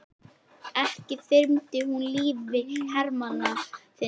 Ekki þyrmdir þú lífi hermanna þinna?